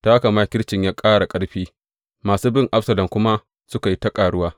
Ta haka makircin ya ƙara ƙarfi, masu bin Absalom kuma suka yi ta ƙaruwa.